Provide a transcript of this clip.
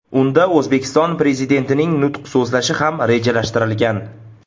Unda O‘zbekiston Prezidentining nutq so‘zlashi ham rejalashtirilgan.